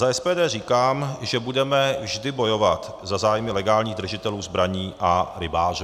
Za SPD říkám, že budeme vždy bojovat za zájmy legálních držitelů zbraní a rybářů.